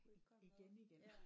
Igen igen